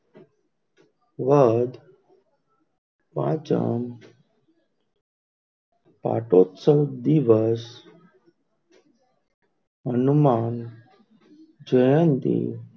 વદ પાંચમ પાઠ ઉત્સવ દિવષ હનુમાન જયંતી,